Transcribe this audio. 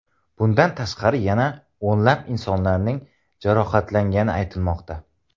Bundan tashqari yana o‘nlab insonlarning jarohatlangani aytilmoqda.